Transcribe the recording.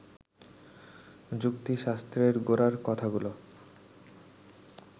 যুক্তিশাস্ত্রের গোড়ার কথাগুলো